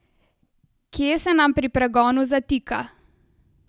Kje se nam pri pregonu zatika?